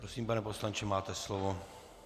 Prosím, pane poslanče, máte slovo.